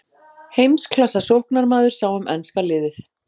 Heimsklassa sóknarmaður sá um enska liðið.